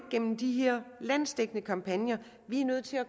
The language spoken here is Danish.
gennem de her landsdækkende kampagner vi er nødt til at